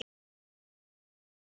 Aðeins þyrfti að finna þá leið.